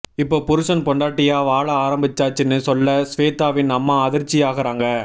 இப்போ புருஷன் பொண்டாட்டிய வாழ ஆரம்பிச்சாச்சுன்னு சொல்ல ஸ்வேதாவின் அம்மா அதிர்ச்சியாகறாங்க